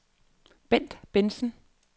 Bendt Bentzen